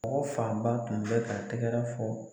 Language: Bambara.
Mɔgɔ fanba tun bɛ ka tɛgɛrɛ fɔ.